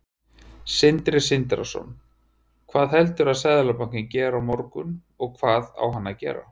Sindri Sindrason: Hvað heldurðu að Seðlabankinn geri á morgun, og hvað á hann að gera?